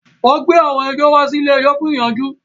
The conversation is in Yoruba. Wọ́n gbé àwọn ẹjọ́ wá sí ilé-ẹjọ̀ fún ìyanjú